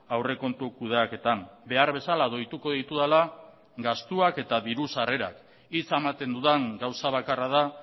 aurrekontu kudeaketan behar bezala doituko ditudala gastuak eta diru sarrerak hitza ematen dudan gauza bakarra da